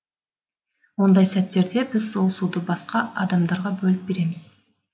ондай сәттерде біз сол суды басқа адамдарға бөліп береміз